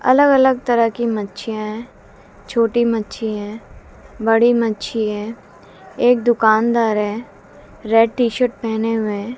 अलग अलग तरह की मच्छियां हैं छोटी मच्छी है बड़ी मच्छी है एक दुकानदार है रेड टी शर्ट पहने हुए।